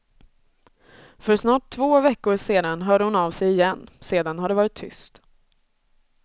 För snart två veckor sedan hörde hon av sig igen, sedan har det varit tyst.